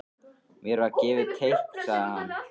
Mér var gefið teikn sagði hann.